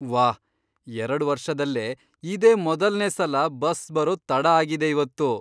ವಾಹ್, ಎರಡ್ ವರ್ಷದಲ್ಲೇ ಇದೇ ಮೊದಲ್ನೇ ಸಲ ಬಸ್ ಬರೋದ್ ತಡ ಆಗಿದೆ ಇವತ್ತು.